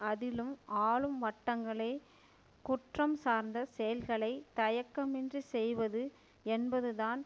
அதிலும் ஆளும் வட்டங்களே குற்றம் சார்ந்த செயல்களை தயக்கமின்றிச்செய்வது என்பதுதான்